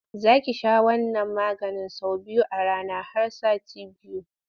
Za ki sha wannan maganin sau biyu a rana har sati biyu.